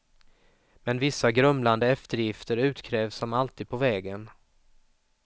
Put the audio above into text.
Men vissa grumlande eftergifter utkrävs som alltid på vägen.